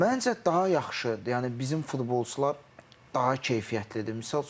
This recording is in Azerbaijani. Məncə daha yaxşı, yəni bizim futbolçular daha keyfiyyətlidir.